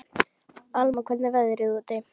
Alma, hvernig er veðrið úti?